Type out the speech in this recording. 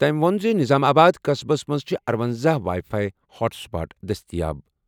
تٔمۍ ووٚن زِ نظام آباد قصبس منٛز چھِ اَرۄنزہَ وائی فائی ہاٹ سپاٹ دٔستِیاب۔